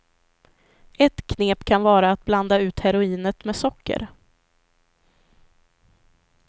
Ett knep kan vara att blanda ut heroinet med socker.